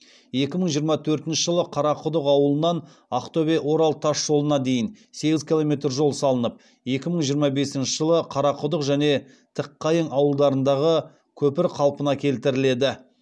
екі мың жиырма төртінші жылы қарақұдық ауылынан ақтөбе орал тас жолына дейін сегіз километр жол салынып екі мың жиырма бесінші жылы қарақұдық және тікқайың ауылдарындағы көпір қалпына келтіріледі